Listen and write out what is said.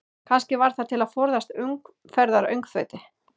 Kannski var það til að forðast umferðaröngþveiti?